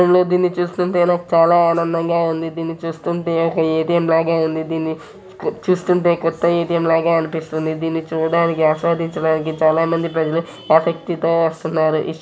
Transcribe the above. చిత్రంలో దీన్ని చూస్తుంటే నాకు చాలా ఆనంధం గ ఉంది ధీన్ని చూస్తుంటే ఒక ఏ. టి.ఎమ్ లాగే ఉంది దీన్ని చూస్తుంటే కొత్త ఏ. టి.ఎమ్ లాగే అనిపిస్తుంది దీన్ని చూడడానికి ఆస్వాదించడానికి చాలా మంది ప్రజలు ఆసక్తి తో వస్తున్నారు.